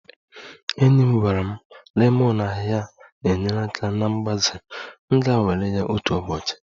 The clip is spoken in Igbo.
Enyi m gwara m lemon ahịhịa na-enyere aka na mgbaze, m ga-anwale ya otu ụbọchị